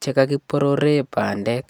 che kakiborore bandek.